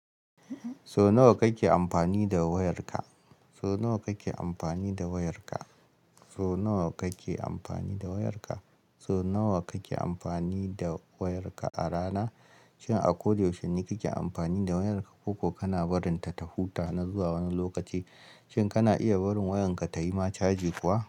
So nawa kake amfani da wayarka? So nawa kake amfani da wayarka? So nawa kake amfani da wayarka a rana? Shin a ko da yaushe kake amfani da wayarka ko kana barinta ta huta na zuwa wani lokaci? Shin kana iya barin wayarka tayi ma caji kuwa?